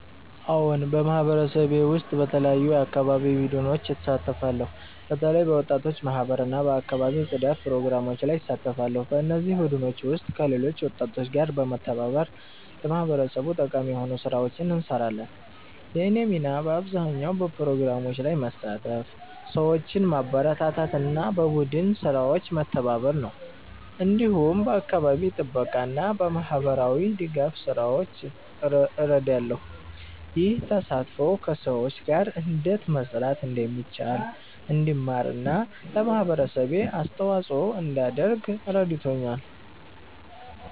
አዎን፣ በማህበረሰቤ ውስጥ በተለያዩ የአካባቢ ቡድኖች እሳተፋለሁ። በተለይ በወጣቶች ማህበር እና በአካባቢ ጽዳት ፕሮግራሞች ላይ እሳተፋለሁ። በእነዚህ ቡድኖች ውስጥ ከሌሎች ወጣቶች ጋር በመተባበር ለማህበረሰቡ ጠቃሚ የሆኑ ስራዎችን እንሰራለን። የእኔ ሚና በአብዛኛው በፕሮግራሞች ላይ መሳተፍ፣ ሰዎችን ማበረታታት እና በቡድን ስራዎች መተባበር ነው። እንዲሁም በአካባቢ ጥበቃ እና በማህበራዊ ድጋፍ ስራዎች ላይ እረዳለሁ። ይህ ተሳትፎ ከሰዎች ጋር እንዴት መስራት እንደሚቻል እንድማር እና ለማህበረሰቤ አስተዋጽኦ እንዳደርግ ረድቶኛል።